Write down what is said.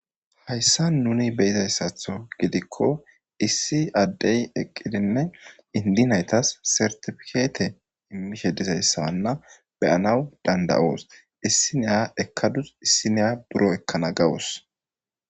Haysan nuni beyizaysatho gidikko issi Adey eqidinne indi naytas sertipikette immishe dizzysa beyanaw dandayos. Issi Naya ekadu issinaya buro ekana gawus.